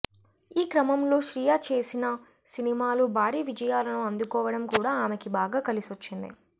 ఈ క్రమంలో శ్రియ చేసిన సినిమాలు భారీ విజయాలను అందుకోవడం కూడా ఆమెకి బాగా కలిసొచ్చింది